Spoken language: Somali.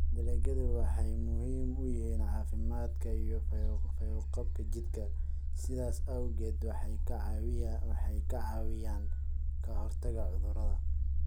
dalagyadu waxay muhiim u yihiin caafimaadka iyo fayo-qabka jidhka, sidaas awgeed waxay ka caawiyaan ka hortagga cudurrada.